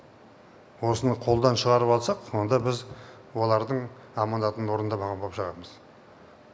осыны қолдан шығарып алсақ онда біз олардың аманатын орындамаған боп шығамыз